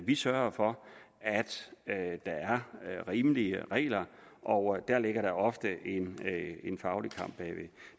vi sørger for at der er rimelige regler og der ligger ofte en faglig kamp